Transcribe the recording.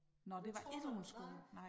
Det tror man nej